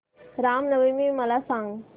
राम नवमी मला सांग